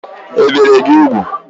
Ebìri gị úgwù?